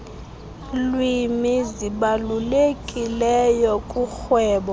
lwimi zibalulekileyo kurhwebo